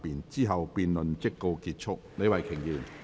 之後辯論即告結束。